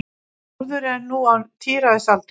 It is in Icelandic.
Þórður er nú á tíræðisaldri.